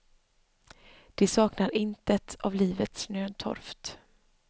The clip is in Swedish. De saknar intet av livets nödtorft.